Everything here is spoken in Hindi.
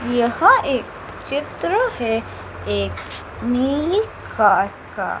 यह एक चित्र है एक नीली कार का--